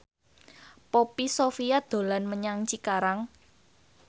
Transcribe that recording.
Poppy Sovia dolan menyang Cikarang